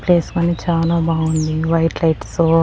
Place కానీ చాలా బాగుంది. White lights so --